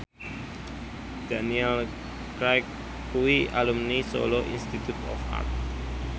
Daniel Craig kuwi alumni Solo Institute of Art